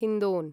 हिन्दोन्